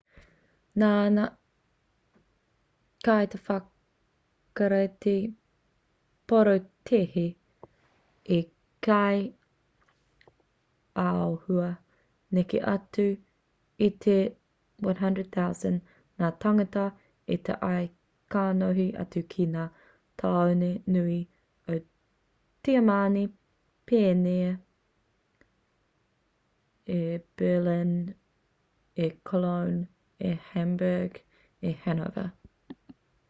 nā ngā kaiwhakarite porotēhi i kī āhua neke atu i te 100,000 ngā tāngata i tae ā kanohi atu ki ngā tāone nui o tiamani pēnei i berlin i cologne i hamburg i hanover